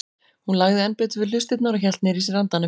Hún lagði enn betur við hlustirnar og hélt niðri í sér andanum.